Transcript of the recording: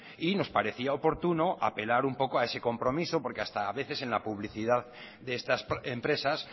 y nos parecía oportuno apelar un poco a ese compromiso porque hasta a veces en la publicidad de estas empresas